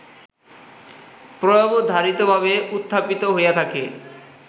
প্রায়োবধারিতভাবে উত্থাপিত হইয়া থাকে